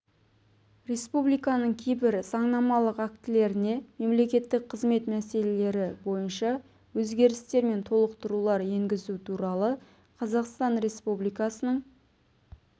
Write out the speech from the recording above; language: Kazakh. республикасының кейбір заңнамалық актілеріне мемлекеттік қызмет мәселелері бойынша өзгерістер мен толықтырулар енгізу туралы қазақстан республикасының